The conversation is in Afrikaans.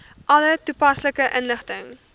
alle toepaslike inligting